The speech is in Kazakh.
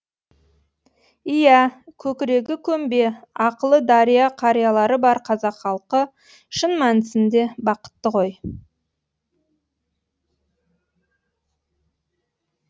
иә көкірегі көмбе ақылы дария қариялары бар қазақ халқы шын мәнісінде бақытты ғой